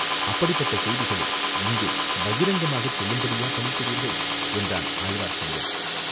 அப்படிப்பட்ட செய்திகளை இங்கே பகிரங்கமாகச் சொல்லும்படியா பணிக்கிறீர்கள்?" என்றான் ஆழ்வார்க்கடியான்.